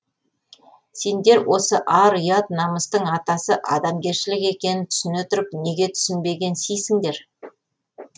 сендер осы ар ұят намыстың атасы адамгершілік екенін түсіне тұрып неге түсінбегенсисіңдер